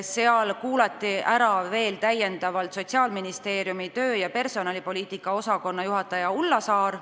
Seal kuulati ära veel Sotsiaalministeeriumi töö- ja personalipoliitika osakonna juhataja Ulla Saar.